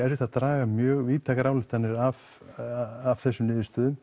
að draga mjög víðteknar ályktanir af þessum niðurstöðum